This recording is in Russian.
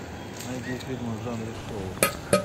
найди фильмы в жанре шоу